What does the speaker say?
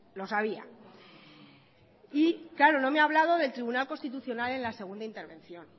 lo sabía y claro no me ha hablado del tribunal constitucional en la segunda intervención